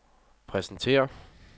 præsenterer